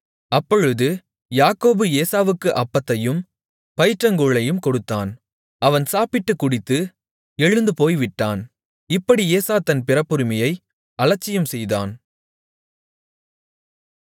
அப்பொழுது யாக்கோபு ஏசாவுக்கு அப்பத்தையும் பயிற்றங்கூழையும் கொடுத்தான் அவன் சாப்பிட்டுக் குடித்து எழுந்து போய்விட்டான் இப்படி ஏசா தன் பிறப்புரிமையை அலட்சியம் செய்தான்